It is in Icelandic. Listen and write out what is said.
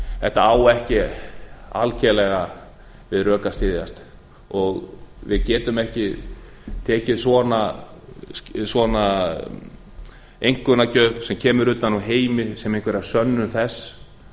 þetta á ekki algerlega við rök að styðjast og við getum ekki tekið svona einkunnagjöf sem kemur utan úr heimi sem einhverja sönnun þess